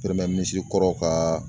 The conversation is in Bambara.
Minisiri kɔrɔw kaaa